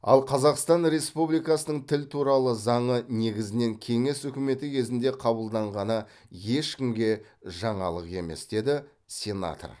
ал қазақстан республикасының тіл туралы заңы негізінен кеңес үкімет кезінде қабылданғаны ешкімге жаңалық емес деді сенатор